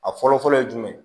A fɔlɔ fɔlɔ ye jumɛn ye